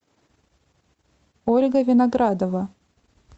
ольга виноградова